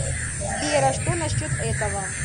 сбер а что насчет этого